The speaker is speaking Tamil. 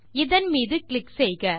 இதன் மீது கிளிக் செய்க